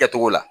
Kɛcogo la